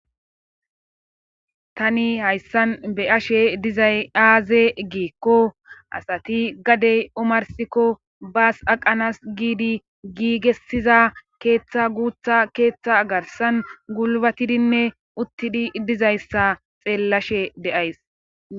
Tani hayssan be ashe dizay aaze giikko asati gadey omarsikko baas aqanas giidi giigessiza keeththa guutha keeththa garsan gulbatidinne uttidi dizayssa xeellashe de7ays.